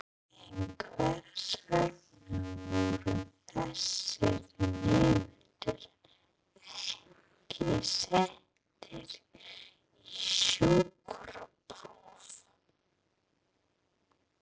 En hvers vegna voru þessir nemendur ekki settir í sjúkrapróf?